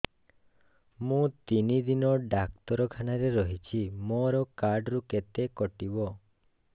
ମୁଁ ତିନି ଦିନ ଡାକ୍ତର ଖାନାରେ ରହିଛି ମୋର କାର୍ଡ ରୁ କେତେ କଟିବ